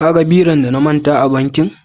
ka gan biron da na manter a bankin?